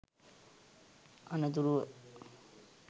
අනතුරුව